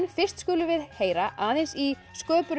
fyrst skulum við heyra aðeins í